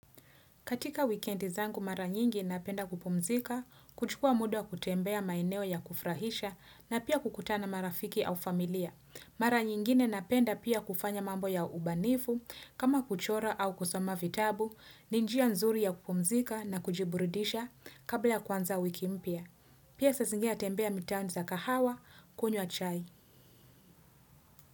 Katika weekendi zangu mara nyingi napenda kupumzika, kuchukua muda kutembea maeneo ya kufrahisha na pia kukutana marafiki au familia. Mara nyingine napenda pia kufanya mambo ya ubanifu, kama kuchora au kusoma vitabu, ni njia nzuri ya kupumzika na kujiburidisha kabla ya kuanza wiki mpya. Pia saa zingine natembea mitaani za kahawa, kunywa chai.